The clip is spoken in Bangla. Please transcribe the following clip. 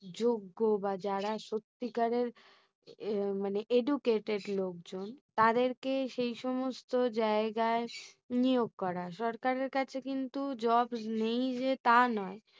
যোগ্য বা যারা সত্যিকারের আহ মানে educated লোকজন তাদেরকেই সেই সমস্ত জায়গায় নিয়োগ করার। সরকারের কাছে কিন্তু jobs নেই যে তা নয়